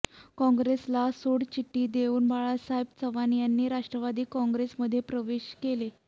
काँग्रेसला सोडचिठ्ठी देऊन बाळासाहेब चव्हाण यांनी राष्ट्रवादी काँग्रेस मध्ये प्रवेश केला